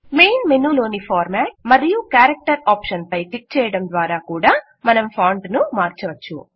main మెనూలోని format మరియు character option పై క్లిక్ చేయడం ద్వారా కూడా మనం ఫాంట్ ను మార్చవచ్చు